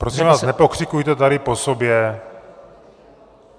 Prosím vás, nepokřikujte tady po sobě.